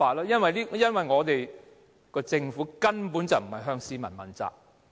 因為我們的政府根本不是向市民問責。